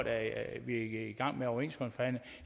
er i gang med overenskomstforhandlinger